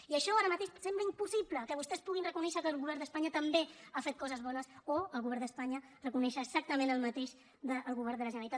i això ara mateix sembla impossible que vostès puguin reconèixer que el govern d’espanya també ha fet coses bones o el govern d’espanya reconèixer exactament el mateix del govern de la generalitat